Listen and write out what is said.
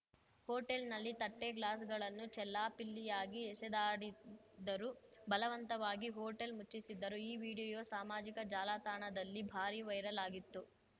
ಹೋಟೆಲ್‌ನಲ್ಲಿ ತಟ್ಟೆ ಗ್ಲಾಸ್‌ಗಳನ್ನು ಚೆಲ್ಲಾಪಿಲ್ಲಿಯಾಗಿ ಎಸೆದಾಡಿದ್ದರು ಬಲವಂತವಾಗಿ ಹೋಟೆಲ್‌ ಮುಚ್ಚಿಸಿದ್ದರು ಈ ವಿಡಿಯೋ ಸಾಮಾಜಿಕ ಜಾಲತಾಣದಲ್ಲಿ ಭಾರೀ ವೈರಲ್‌ ಆಗಿತ್ತು